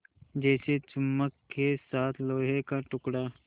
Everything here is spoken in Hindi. जैसे चुम्बक के साथ लोहे का टुकड़ा